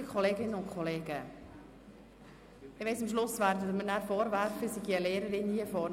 Liebe Kolleginnen und Kollegen, ich weiss, dass Sie mir am Schluss vorwerfen werden, ich sei hier vorne eine Lehrerin.